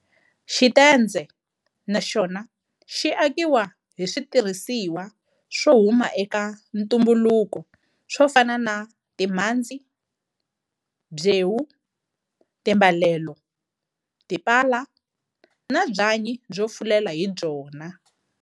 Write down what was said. Xitendze na xona xi akiwa hi switirhisiwa swo huma eka ntumbuluko swo fana na timhandzi, byewu, timbalelo, tipala na byanyi byo fulela hi byona.